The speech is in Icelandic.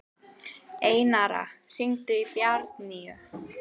Einara, hringdu í Bjarnnýju.